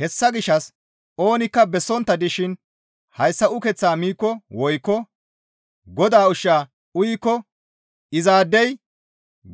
Hessa gishshas oonikka bessontta dishin hayssa ukeththaa miikko woykko Godaa ushshaa uyikko izaadey